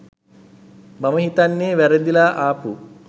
මම හිතන්නේ වැරදිලා ආපු